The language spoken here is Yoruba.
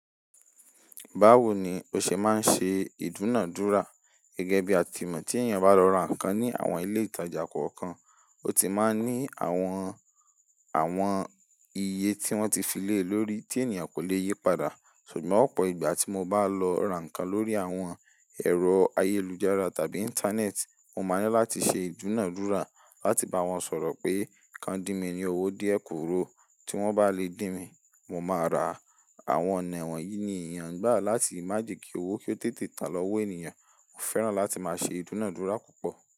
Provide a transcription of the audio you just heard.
Báwo ni o ṣe máa ń ṣe ìdúnàádúrà? Gẹ́gẹ́ bí a ti mọ̀ tí ènìyàn bá lọ ra nǹkan ní àwọn ilé ìtajà kọ̀ọ̀kan, ó ti máa ní àwọn, àwọn iye tí wọ́n ti fi lélòórí tí ènìyàn kò le yí padà. Ṣùgbọ́n ọ̀pọ̀ ìgbà tí mo bá lọ ra nǹkan lórí àwọn ẹ̀rọ ayélujára tàbí Íńtánẹ́ẹ̀tì, mo máa ní láti ṣe ìdúnàádúrà láti bá wọn sọ̀rọ̀ pé ká di mi ní owó díè kúrò. Tí wọ́n bá lè dín mi, mo máa ra. Àwọn ọ̀nawọ̀n yìí ni èèyàn gbà láti má jẹ́ kí owó kí ó tètè tàn lọ́wọ́ ènìyàn. Mo fẹ́ràn láti máa ṣe ìdúnàádúrà púpọ̀.